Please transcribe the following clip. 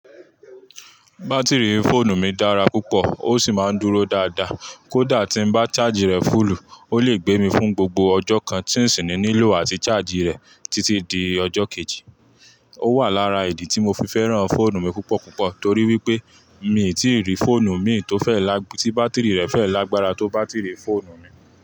Bátìrì fóònù mi dára púpọ̀ ó sì máa ń dúró dáadáa. Kódà tí n bá charge rẹ fúùlù, ó le gbé mi fún gbogbo ọjọ́ kan tí ń sì nílò àti charge rẹ̀ títí di ọjọ́ kejì. Ó wà lára ìdí tí mo fi fẹ́ràn fóònù mi púpọ̀ púpọ̀ torí wípé mi ì tí rí fóònù mìn tó fẹ́ lag-, tí bátìrì rẹ̀ fẹ́ lágbára tó bátìrì fóònù mi.